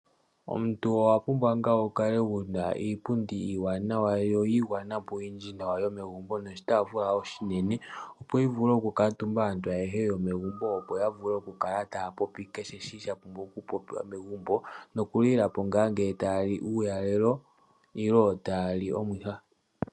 Omuntu owa pumbwa ngaa wu kale wuna iipundi iiwanawa yo yiigwana po nawa yo megumbo, noshitafula oshinene. Opo yi vule okukaatumba aantu ayehe yomegumbo opo ya vule okukala taa popi kehe shi sha pumbwa okupopiwa megumbo, nokulila po ngaa nge taa li uulalelo nenge ta ya li omuha.